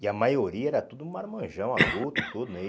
E a maioria era tudo marmanjão, adulto, tudo.